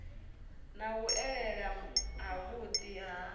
na u elela havhuḓi ha